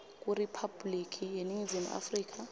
kuriphabhuliki yeningizimu afrika